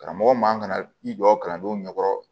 Karamɔgɔ man ka i jɔ kalandenw ɲɛkɔrɔ